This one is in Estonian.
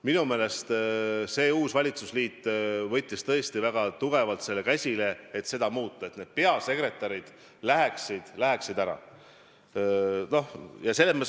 Minu meelest võttis uus valitsusliit tõesti väga tugevalt käsile selle, et seda muuta ja et peasekretärid läheksid ära.